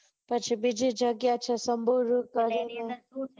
પછી બીજી જગ્યા છે સ્મ્ભોઈ રૂટ બાજુ